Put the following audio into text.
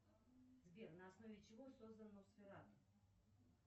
сбер на основе чего создан носферату